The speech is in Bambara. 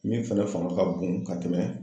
Min fɛnɛ fanga ka bon ka tɛmɛ